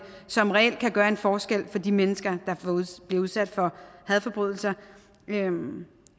som reelt kan gøre en forskel for de mennesker der bliver udsat for hadforbrydelser